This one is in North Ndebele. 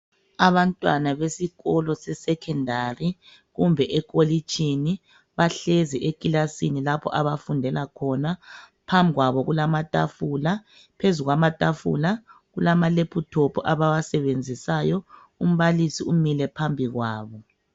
Abantwana besikolo se 'secondary' kumbe ekholitshini, bahlezi ekilasini lapho abafundela khona. Phambi kwabo kulamathafula. Phezu kwamathafula kulamalephuthophu abawasebezisayo. Umbalisi imi phambi kwabo.